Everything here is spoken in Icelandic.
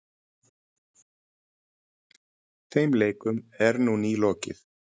Þeim leikum er nú nýlokið.